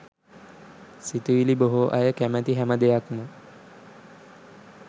සිතුවිළි බොහෝ අය කැමති හැම දෙයක්ම